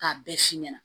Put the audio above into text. K'a bɛɛ f'i ɲɛna